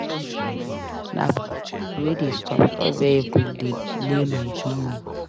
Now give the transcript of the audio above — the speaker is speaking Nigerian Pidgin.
Na police pipo wey dey stop-stop vehicle delay my journey.